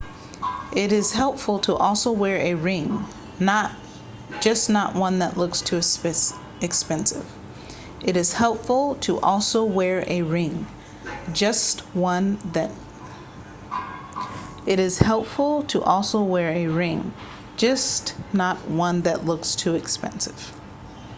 it is helpful to also wear a ring just not one that looks too expensive